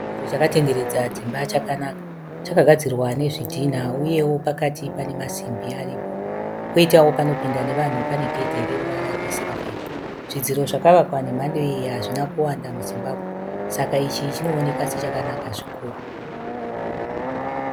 Chidziro chakatenderedza dzimba chakanaka. Chakagadzirwa nezvidhina uyewo pakati pane masimbi aripo kwoitawo panopinda nevanhu pane gedhi reruvara rwesirivheri. Zvidziro zvakavakwa nemhando iyi hazvina kuwanda muZimbabwe saka ichi chinooneka sechakanaka zvikuru.